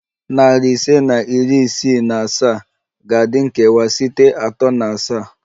Nari ise na iri isii na asaa ga-adị nkewa site atọ na asaa